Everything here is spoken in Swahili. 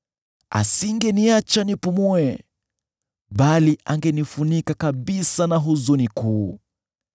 Asingeniacha nipumue bali angenifunika kabisa na huzuni kuu.